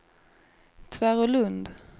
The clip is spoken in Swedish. Tvärålund